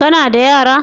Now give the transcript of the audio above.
Ka na da yara?